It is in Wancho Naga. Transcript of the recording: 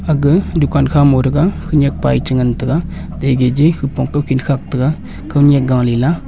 aga dukan kha ma ngo taiga khanak pa che ngan taiga hupong nekhi khak taiga kao nyak gali la.